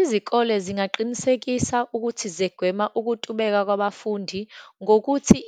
Izikole zingaqinisekisa ukuthi zegwema ukutubeka kwabafundi, ngokuthi